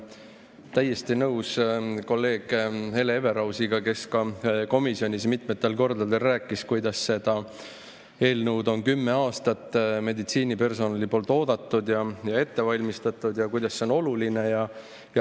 Olen täiesti nõus kolleeg Hele Everausiga, kes ka komisjonis mitmel korral rääkis, kuidas seda eelnõu on meditsiinipersonal kümme aastat oodanud ja ette valmistanud ning kui oluline see on.